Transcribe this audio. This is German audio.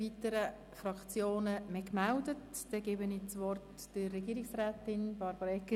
Weitere Fraktionen haben sich nicht gemeldet, daher gebe ich das Wort an Frau Regierungsrätin Egger.